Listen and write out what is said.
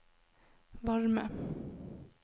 varme